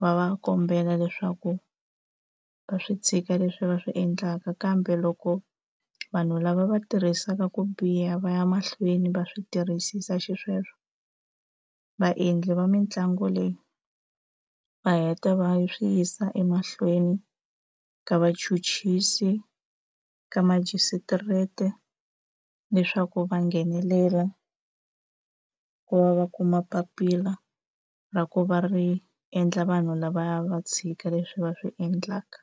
va va kombela leswaku va swi tshika leswi va swi endlaka kambe loko vanhu lava va tirhisaka ku biha va ya mahlweni va swi tirhisisa xisweswo vaendli va mitlangu leyi va heta va swi yisa emahlweni ka vachuchisi ka majisitireti leswaku va nghenelela ku va va kuma papila ra ku va ri endla vanhu lavaya va tshika leswi va swi endlaka.